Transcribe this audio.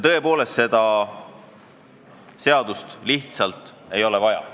Tõepoolest, seda seadust lihtsalt ei ole vaja.